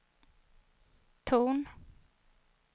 ton